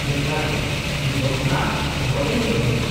-ᱡᱚᱛᱷᱟᱛ ᱜᱮᱭᱟ, ᱤᱧ ᱫᱚ ᱚᱱᱟ ᱵᱚᱦᱚᱜ ᱨᱮᱧ ᱫᱚᱦᱚᱭᱟ ᱾